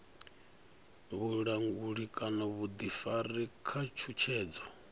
vhulanguli kana vhuḓifari kana tshutshedzo